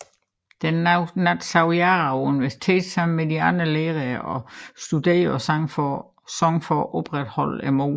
Den nat sov Jara på universitet sammen med de andre lærere og studerende og sang for at opretholde modet